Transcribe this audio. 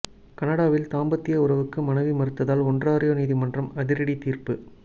கனடாவில் தாம்பத்திய உறவுக்கு மனைவி மறுத்ததால் ஒன்ராறியோ நீதிமன்றம் அதிரடி தீர்ப்பு